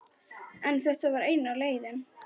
En þetta var eina leiðin.